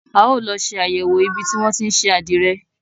A ó lọ ṣe àyẹ̀wò ibi tí wọn tí ń ṣe àdìrẹ.